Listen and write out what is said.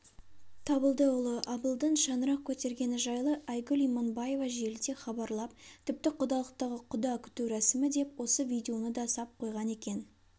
табылдыұлы абылдың шаңырақ көтергені жайлы айгүл иманбаева желіде хабарлап тіпті құдалықтағы құда күту рәсімі деп осы видеоны да сап қойған екен